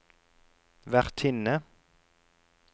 vertinne